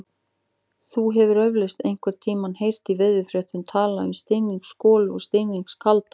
Þú hefur eflaust einhvern tímann heyrt í veðurfréttum talað um stinningsgolu eða stinningskalda.